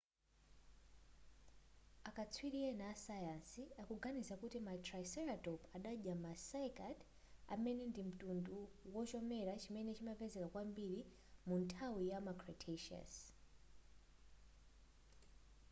akatswiri ena asayansi akuganiza kuti ma triceratop adadya ma cycad amene ndi mtundu wachomera chimene chimapezeka kwambiri munthawi yama cretaceous